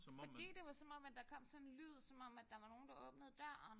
Fordi det var som om at der kom sådan en lyd som om at der var nogen der åbnede døren